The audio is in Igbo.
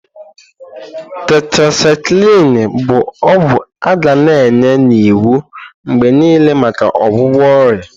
Tetrasyklini bu ogwu aga na enye n'iwu mgbe niile maka ọgwụgwọ ọrịa.